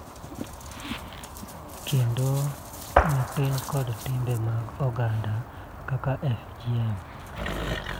Kendo matin, kod timbe mag oganda kaka FGM.